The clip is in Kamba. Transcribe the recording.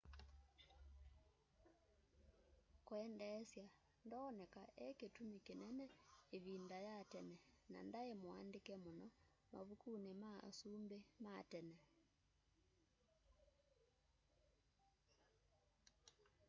kwendeesya ndoneka ekĩtũmĩ kĩnene ĩvĩnda ya tene na ndaĩ mũandĩke mũno mavũkũnĩ ma asũmbĩ matene